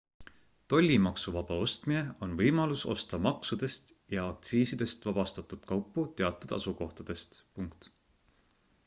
tollimaksuvaba ostmine on võimalus osta maksudest ja aktsiisidest vabastatud kaupu teatud asukohtadest